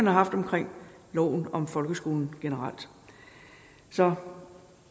har haft omkring loven om folkeskolen generelt så